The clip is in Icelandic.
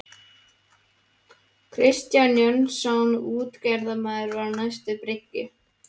Kristján Jónsson útgerðarmaður var á næstu bryggju.